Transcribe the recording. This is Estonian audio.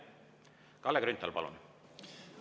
Kalle Grünthal, palun!